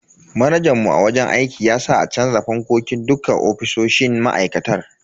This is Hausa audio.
Manajan mu a wajen aiki ya sa a canza fankokin dukka ofisoshin ma'aikatar.